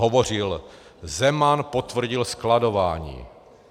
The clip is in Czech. Hovořil: Zeman potvrdil skladování.